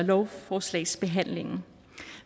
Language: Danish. lovforslagsbehandlingen